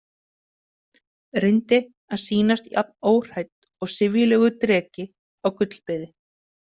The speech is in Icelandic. Reyndi að sýnast jafn óhrædd og syfjulegur dreki á gullbeði.